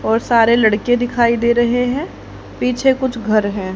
और सारे लड़के दिखाई दे रहे हैं पीछे कुछ घर हैं।